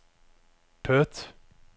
Perth